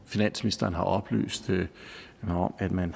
finansministeren har oplyst mig om at man